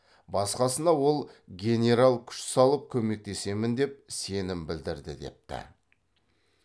басқасына ол генерал күш салып көмектесемін деп сенім білдірді депті